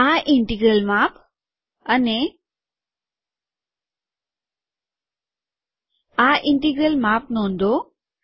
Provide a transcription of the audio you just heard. આ ઇન્ટિગ્રલ માપ અને આ ઇન્ટિગ્રલ માપ નોંધો